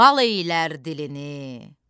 lal eylər dilini,